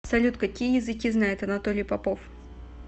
салют какие языки знает анатолий попов